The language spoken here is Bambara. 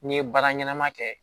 N'i ye baara ɲɛnama kɛ